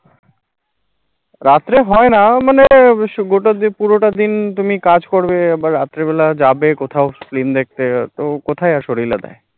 রাত্রে হয় না মানে সুবহা পুরোটা দিন তুমি কাজ করবে বা রাত্রেবেলা যাবে কোথাও film দেখতে তো কোথায়